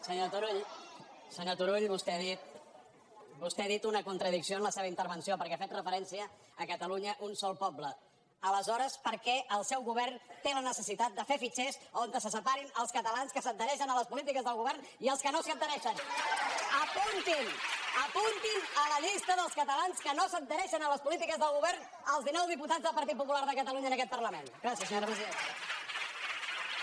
senyor turull vostè ha dit una contradicció en la se·va intervenció perquè ha fet referència a catalunya un sol poble aleshores per què el seu govern té la necessitat de fer fitxers on se separin els catalans que s’adhereixen a les polítiques del govern i els que no s’hi adhereixen apuntin apuntin a la llista dels catalans que no s’ad·hereixen a les polítiques del govern els dinou diputats del partit popular de catalunya en aquest parlament gràcies senyora presidenta